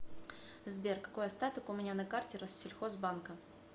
сбер какой остаток у меня на карте россельхозбанка